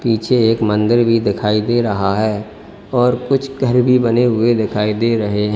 पीछे एक मंदिर भी दिखाई दे रहा है और कुछ घर भी बने हुए दिखाई दे रहे हैं।